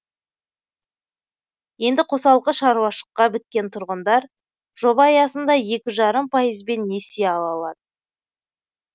енді қосалқы шаруашыққа біріккен тұрғындар жоба аясында екі жарым пайызбен несие ала алады